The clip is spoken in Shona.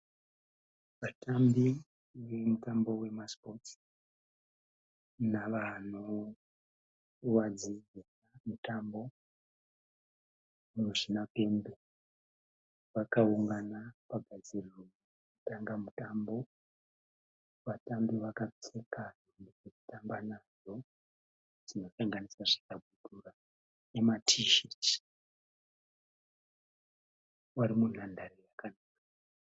Vatambi vemutambo wemasipotsi navano vadzidzisa mutambo muzvinapembe vakaungana pagadziriro dzekutanga mutambo, vatambi vakapfeka hembe dzekutamba nadzo dzinosanganisira zvikabudura nematisheti vari munhandare.